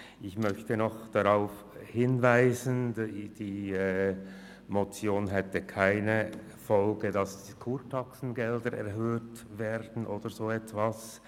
Ich möchte noch darauf hinweisen, dass die Motion keine Folgen hinsichtlich einer Erhöhung der Kurtaxe oder etwas anderem in dieser Art hätte.